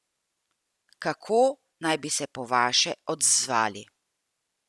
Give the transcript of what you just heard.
Kako naj bi se po vaše odzvali?